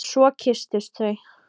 Svo kysstust þau.